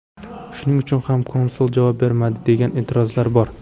Shuning uchun ham konsul javob bermadi, degan e’tirozlar bor.